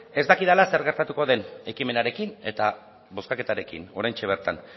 ez dakidala zer gertatuko den ekimenarekin eta bozkaketarekin oraintxe bertan